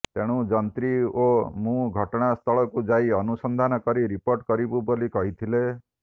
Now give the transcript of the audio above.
ତେଣୁ ଯନ୍ତ୍ରୀ ଓ ମୁଁ ଘଟଣା ସ୍ଥଳକୁ ଯାଇ ଅନୁସନ୍ଧାନ କରି ରିପୋର୍ଟ କରିବୁ ବୋଲି କହିଥିଲେ